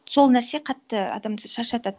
сол нәрсе қатты адамды шаршатады